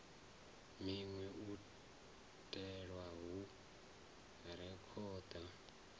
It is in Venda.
minwe u itela u rekhoda